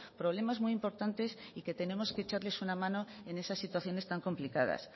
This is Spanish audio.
problemas muy importantes y que tenemos que echarles una mano en esa situaciones tan complicadas